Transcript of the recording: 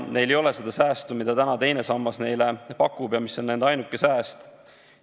Neil ei ole tulevikus seda säästu, mida täna teine sammas neile pakub ja mis on nende ainuke sääst.